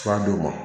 Fura d'o ma